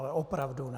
Ale opravdu ne.